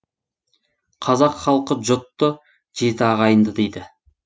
қазақ халқы жұтты жеті ағайынды дейді